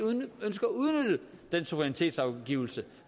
ønsker at udnytte den suverænitetsafgivelse